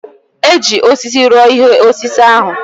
E ji osisi rụọ ihe osise ahụ.